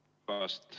Palun!